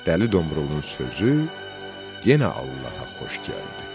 Dəli Domrulun sözü yenə Allaha xoş gəldi.